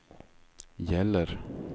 gäller